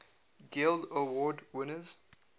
guild award winners